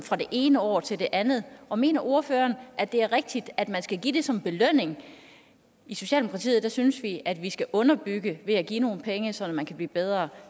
fra det ene år til det andet og mener ordføreren at det er rigtigt at man skal give det som belønning i socialdemokratiet synes vi at vi skal underbygge ved at give nogle penge så man kan blive bedre